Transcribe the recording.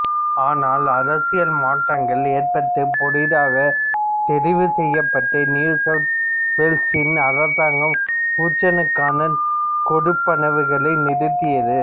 ஆனால் அரசியல் மாற்றங்கள் ஏற்பட்டு புதிதாகத் தெரிவுசெய்யப்பட்ட நியூ சவுத் வேல்ஸின் அரசாங்கம் ஊட்சனுக்கான கொடுப்பனவுகளை நிறுத்தியது